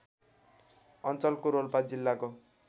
अञ्चलको रोल्पा जिल्लाको